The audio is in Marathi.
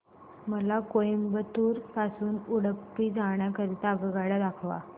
मला कोइंबतूर पासून उडुपी जाण्या करीता आगगाड्या दाखवा